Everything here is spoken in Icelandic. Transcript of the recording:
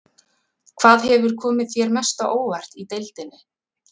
Hvað hefur komið þér mest á óvart í deildinni?